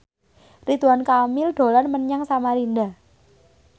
Ridwan Kamil dolan menyang Samarinda